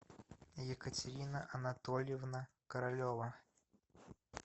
екатерина анатольевна королева